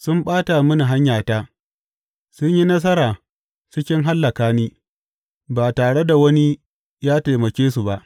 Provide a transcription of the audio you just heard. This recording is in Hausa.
Sun ɓata mini hanyata; sun yi nasara cikin hallaka ni, ba tare da wani ya taimake su ba.